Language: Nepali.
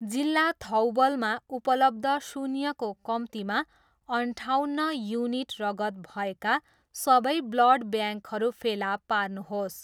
जिल्ला थौबलमा उपलब्ध शून्यको कम्तीमा अन्ठाउन्न युनिट रगत भएका सबै ब्लड ब्याङ्कहरू फेला पार्नुहोस्।